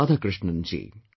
Radhakrishnan ji